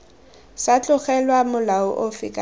sa tlogelwa molao ofe kana